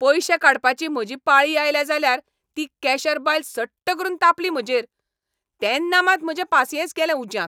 पयशे काडपाची म्हजी पाळी आयली जाल्यार ती कॅशर बायल सट्ट करून तापली म्हजेर. तेन्ना मात म्हजें पासियेंस गेलें उज्यांत.